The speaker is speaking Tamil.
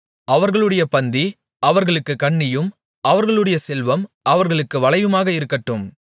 அவர்களுடைய பந்தி அவர்களுக்குக் கண்ணியும் அவர்களுடைய செல்வம் அவர்களுக்கு வலையுமாக இருக்கட்டும்